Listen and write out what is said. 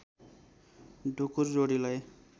ढुकुर जोडीलाई